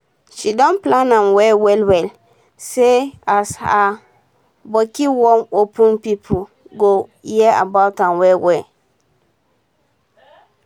she don plan am well well well say as her botik wan open pipo go hear about am well well